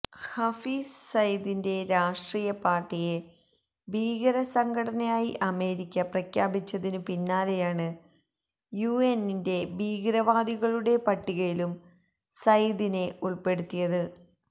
ഹാഫിസ് സയ്യിദിന്റെ രാഷ്ട്രീയ പാര്ട്ടിയെ ഭീകര സംഘടനയായി അമേരിക്ക പ്രഖ്യാപിച്ചതിനു പിന്നാലേയാണ് യുഎന്നിന്റെ ഭീകരവാദികളുടെ പട്ടികയിലും സയ്യിദിനെ ഉള്പ്പെടുത്തിയത്